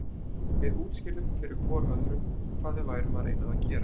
Við útskýrðum fyrir hvor öðrum hvað við værum að reyna að gera.